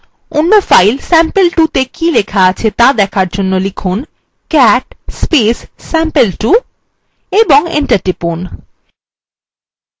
অন্য file sample2 ত়ে কী লেখা আছে ত়া দেখার জন্য লিখুন cat sample2 এবং enter টিপুন